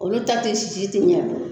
Olu ta te sisi te ɲɛa dɔn